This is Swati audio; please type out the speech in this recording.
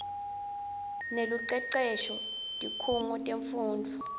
nelucecesho tikhungo temfundvo